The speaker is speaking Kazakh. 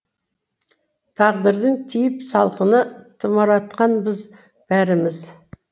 тағдырдың тиіп салқыны тұмауратқанбыз бәріміз